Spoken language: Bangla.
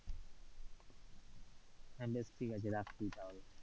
হ্যাঁ, বেশ ঠিক আছি রাখছি তাহলে,